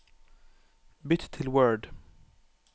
Bytt til Word